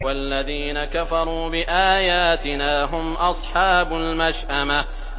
وَالَّذِينَ كَفَرُوا بِآيَاتِنَا هُمْ أَصْحَابُ الْمَشْأَمَةِ